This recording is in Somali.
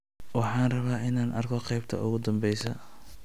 Waxaan rabaa inaan arko qaybta ugu dambeysa